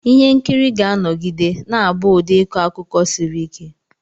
Ihe nkiri ga-anọgide na-abụ ụdị ịkọ akụkọ siri ike.